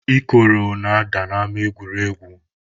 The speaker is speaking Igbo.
Ikoro na-ada n'ama egwuregwu.